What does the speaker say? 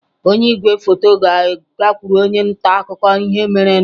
Onye igwefoto ga-agakwuru onye nta akụkọ ihe merenụ